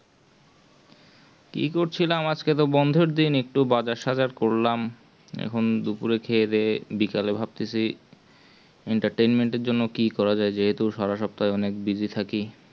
কি করছিলাম আজকে তো বন্ধের দিন একটু বাজার-সাজার করলাম দুপুরে খেয়ে দেয়ে বিকালে ভাবতেছি entertainment জন্য কি করা যায় যেহেতু সারা সপ্তাহে খুব busy থাকি